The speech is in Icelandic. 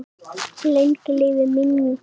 Lengi lifi minning hennar!